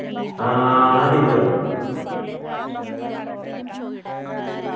ആഹ് ആ teacher എന്നെ